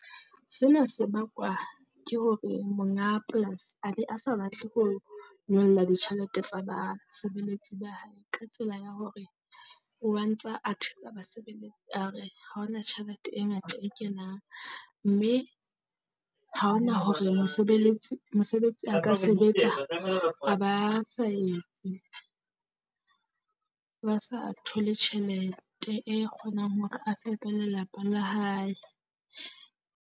Sena sebakwa ke hore monga polasi a be a sa batle ho nyolla ditjhelete tsa basebeletsi ba hae. Ka tsela ya hore oa ntsa a thetsa basebeletsi a re ha on a tjhelete e ngata e kenang, mme ha ho na hore mosebeletsi mosebetsi a ka sebetsa a ba sa etse, ba sa thole tjhelete e kgonang hore a fepe lelapa la hae.